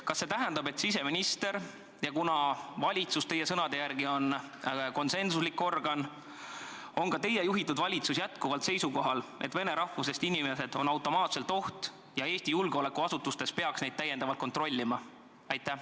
Kas see tähendab, et siseminister ja – kuna valitsus on teie sõnade järgi konsensuslik organ – ka teie juhitud valitsus on jätkuvalt seisukohal, et vene rahvusest inimesed on automaatselt oht ja Eesti julgeolekuasutustes peaks neid täiendavalt kontrollima?